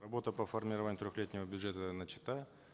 работа по формированию трехлетнего бюджета начата